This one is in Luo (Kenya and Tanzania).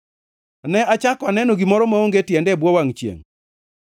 Ne achako aneno gimoro maonge tiende e bwo wangʼ chiengʼ: